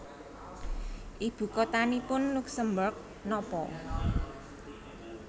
Ibu kotanipun Luksemburg nopo